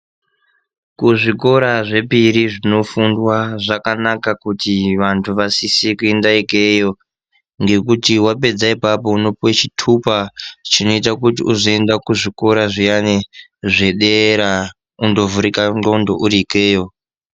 Kuzvikora zvepiri zvinofundwa zvakanaka kuti vantu vasise kuenda ikeyo. Ngekuti wapedza ipapo unopuwe chitupa chinoita kuti uzoenda kuzvikora zviyani zvedera, undovhurika ndxondo uri ikeyo.